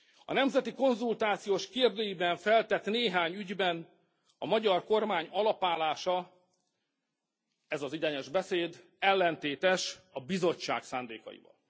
A nemzeti konzultációs kérdőíven feltett néhány ügyben a magyar kormány alapállása, ez az egyenes beszéd ellentétes a Bizottság szándékaival.